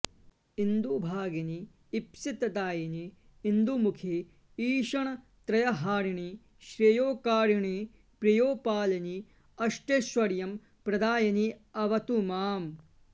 इन्दुभगिनि ईप्सितदायिनि इन्दुमुखि ईषणत्रयहारिणि श्रेयोकारिणि प्रेयोपालिनि अष्टैश्वर्य प्रदायिनि अवतु माम्